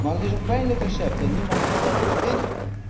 Maar dat is een pijnlijk recept en niemand kan dat ontkennen.